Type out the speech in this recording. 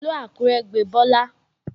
Ìlú Àkúrẹ́ gbe Bọ́lá